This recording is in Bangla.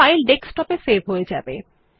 ফাইল ডেস্কটপে সেভ হয়ে যাবে